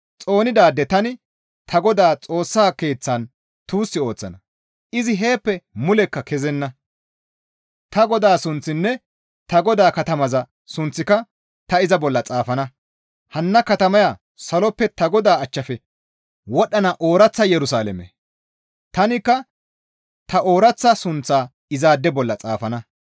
Xoonidaade tani ta Godaa Xoossaa Keeththan tuus ooththana; izi heeppe mulekka kezenna. Ta Godaa sunththinne ta Godaa katamaza sunththika ta iza bolla xaafana. Hanna katamaya saloppe ta Godaa achchafe wodhdhana ooraththa Yerusalaame; tanikka ta ooraththa sunththaa izaade bolla xaafana.